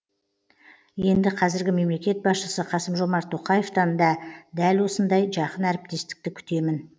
енді қазіргі мемлекет басшысы қасым жомарт тоқаевтан да дәл осындай жақын әріптестікті күтемін